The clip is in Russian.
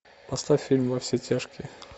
поставь фильм во все тяжкие